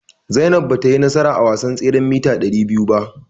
Zainab batayi nasara a wasan tseren mita ɗari biyu ba.